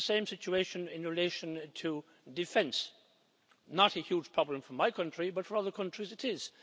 We have the same situation in relation to defence not a huge problem for my country, but for other countries it is.